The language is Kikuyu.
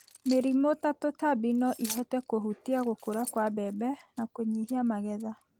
Mĩrimũ ta tũtambi no ihote kũhutia gũkũra kwa mbembe na kũnyihia magetha.